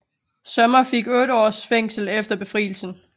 Sommer fik otte års fængsel efter Befrielsen